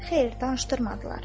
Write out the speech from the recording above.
Xeyr, danışdırmadılar.